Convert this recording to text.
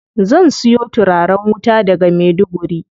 Zan siyo turaren wuta daga Maiduguri.